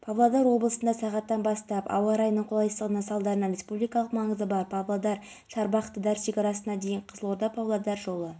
фестиваль астаналықтар арасында танымал болатынына сенімдімін сапалы музыка сүйер тыңдарман жоғары бағасын береріне күмәнім жоқ